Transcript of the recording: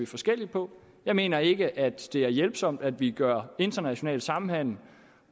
forskelligt på jeg mener ikke at det er hjælpsomt at vi gør international samhandel